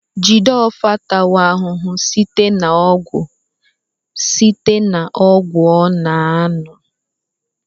Jideofor atawo ahụhụ site na ọgwụ site na ọgwụ ọ na-aṅụ